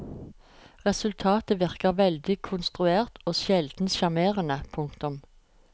Resultatet virker veldig konstruert og sjelden sjarmerende. punktum